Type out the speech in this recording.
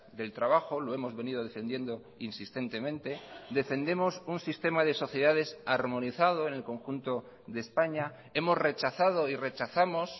del trabajo lo hemos venido defendiendo insistentemente defendemos un sistema de sociedades armonizado en el conjunto de españa hemos rechazado y rechazamos